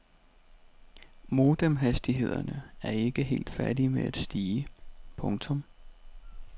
Modemhastighederne er ikke helt færdige med at stige. punktum